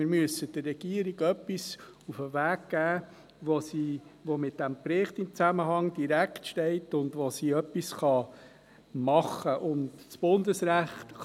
Wir müssen der Regierung etwas mit auf den Weg geben, das in direktem Zusammenhang mit diesem Bericht steht und womit sie etwas anfangen kann.